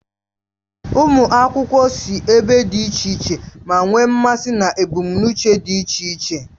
Ụmụ akwụkwọ si ebe dị iche iche, ma nwee mmasị na ebumnuche dị iche iche.